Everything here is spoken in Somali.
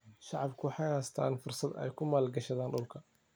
Shacabku waxay haystaan ??fursad ay ku maalgashadaan dhulka.